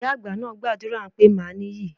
Ìyá àgbà náà gbàdúrà pé màá níyì.